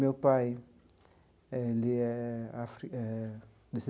Meu pai, eh ele é afri eh.